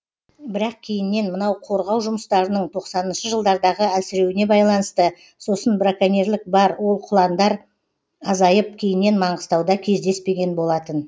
бірақ кейіннен мынау қорғау жұмыстарының тоқсаныншы жылдардағы әлсіреуіне байланысты сосын браконьерлік бар ол құландар азайып кейіннен маңғыстауда кездеспеген болатын